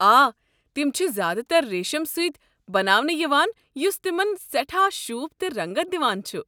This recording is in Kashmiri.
آ، تِم چھِ زیادٕ تر ریٖشٕم سۭتۍ بناونہٕ یِوان یُس تِمَن سٮ۪ٹھاہ شوٗب تہٕ رنٛگت دِوان چھ۔